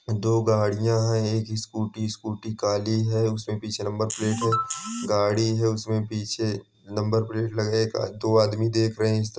दो गाड़ियां हैं एक स्कूटी स्कूटी काली है उसमें पीछे नंबर प्लेट है गाड़ी है उसमें पीछे नंबर प्लेट लगेगा दो आदमी देख रहे हैं। इसत--